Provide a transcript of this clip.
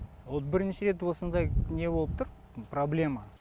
вот бірінші рет осындай не болып тұр проблема